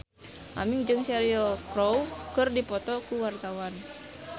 Aming jeung Cheryl Crow keur dipoto ku wartawan